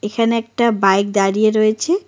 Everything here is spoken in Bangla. এখানে একটা বাইক দারিয়ে রয়েছে।